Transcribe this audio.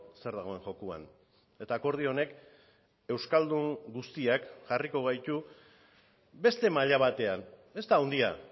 zer dagoen jokoan eta akordio honek euskaldun guztiak jarriko gaitu beste maila batean ez da handia